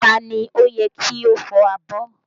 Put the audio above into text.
Ta ni ó yẹ kí ó fọ abọ́?